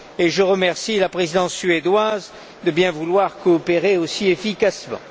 Je remercie la Présidence suédoise de bien vouloir coopérer aussi efficacement.